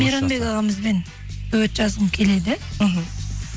мейрмабек ағамызбен дуэт жазғым келеді мхм